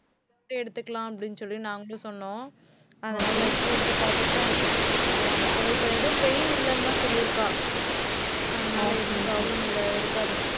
x-ray எடுத்துக்கலாம், அப்படின்னு சொல்லி நாங்களும் சொன்னோம். அதனால x-ray எடுத்து பார்த்துட்டுதான் அவள் இப்ப எதுவும் pain இல்லைன்னுதான் சொல்லியிருக்கா. அதனால எதுவும் problem இல்லை இருக்காது.